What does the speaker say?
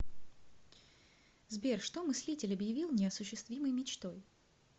сбер что мыслитель обьявил неосуществимой мечтой